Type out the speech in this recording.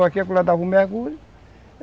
Daqui acolá dava um mergulho